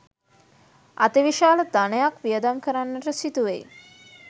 අතිවිශාල ධනයක් වියදම් කරන්නට සිදුවෙයි.